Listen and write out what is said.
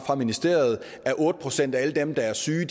ministeriet er otte procent af alle dem der er syge